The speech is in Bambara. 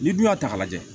N'i dun y'a ta k'a lajɛ